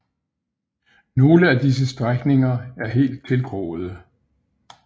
Nogle af disse strækninger er helt tilgroede